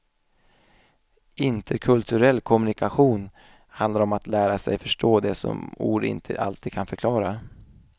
Interkulturell kommunikation handlar om att lära sig förstå det som ord inte alltid kan förklara.